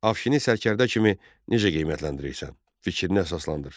Afşini sərkərdə kimi necə qiymətləndirirsən, fikrinə əsaslandır.